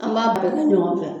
An m'a baara kɛ ɲɔgɔn fɛ.